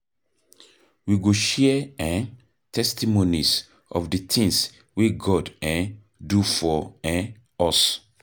We go share um testimonies of di tins wey God um do for um us.